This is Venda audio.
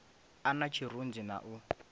a na tshirunzi na u